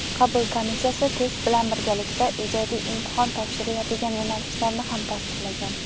qabul komissiyasi test bilan birgalikda ijodiy imtihon topshiriladigan yo‘nalishlarni ham tasdiqlagan.